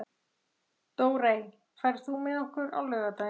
Dórey, ferð þú með okkur á laugardaginn?